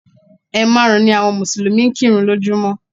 Ẹ̀ maàrún ni àwọn Mùsùlùmí ń kírun lójúmọ́